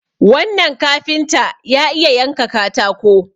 wannan kafinta ya iya yanka katako